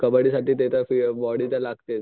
कबड्डी साठी ते तर बॉडी लागतेच.